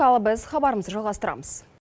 ал біз хабарымызды жалғастырамыз